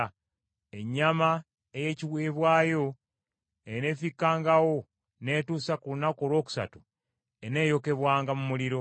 Ennyama ey’ekiweebwayo eneefikkangawo n’etuusa ku lunaku olwokusatu eneeyokebwanga mu muliro.